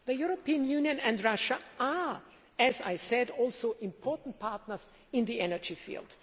The European Union and Russia are, as I said, also important partners in the energy field.